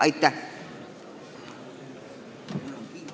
Aitäh!